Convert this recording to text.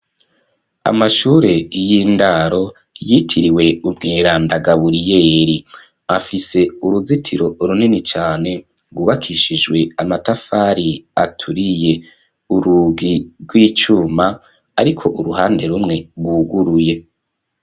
Amashure y'indaro yitiriwe umweranda Gaburiyeri, afise uruzitiro runini cane rwubakishijwe amatafari aturiye. Urugi rw'icuma ariko uruhande rumwe rwuguruye.